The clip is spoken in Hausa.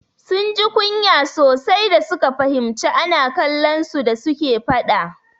Sun ji kunya sosai da suka fahimci ana kallon su da suke faɗa.